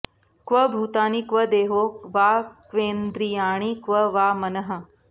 क्व भूतानि क्व देहो वा क्वेन्द्रियाणि क्व वा मनः